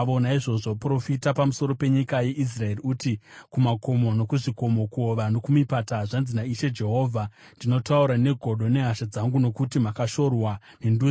Naizvozvo profita pamusoro penyika yeIsraeri uti kumakomo nokuzvikomo, kuhova nokumipata: ‘Zvanzi naIshe Jehovha: Ndinotaura negodo nehasha dzangu nokuti makashorwa nendudzi.